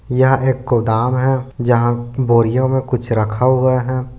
यह एक गोदाम है जहाँ बोरियों में कुछ रखा हुआ है।